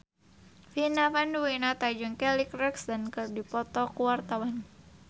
Vina Panduwinata jeung Kelly Clarkson keur dipoto ku wartawan